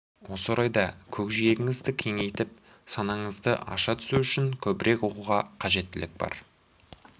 осы орайда көкжиегіңізді кеңейтіп санаңызды аша түсу үшін көбірек оқуға қажеттілік бар